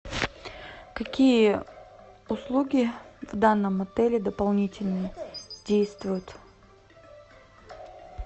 какие услуги в данном отеле дополнительно действуют